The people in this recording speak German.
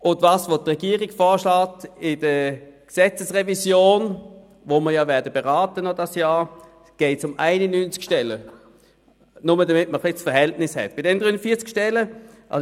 In der Gesetzesrevision, die wir in diesem Jahr noch beraten werden, schlägt die Regierung 91 Stellen vor.